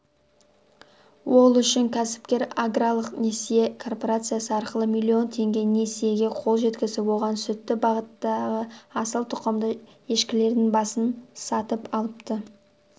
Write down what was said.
ол үшін кәсіпкер аграрлық несие корпорациясы арқылы миллион теңге несиеге қол жеткізіп оған сүтті бағыттағы асыл тұқымды ешкілердің басын сатып алыпты